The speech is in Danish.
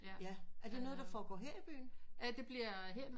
Ja er det noget som foregår her i byen?